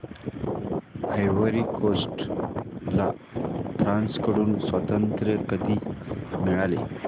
ivory Coast ला France कडून स्वातंत्र्य कधी मिळाले